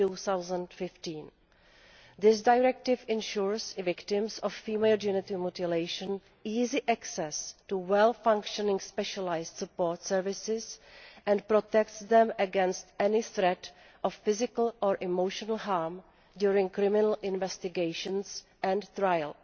2015. This Directive ensures victims of female genital mutilation easy access to well functioning specialised support services and protects them against any threat of physical or emotional harm during criminal investigations and trial.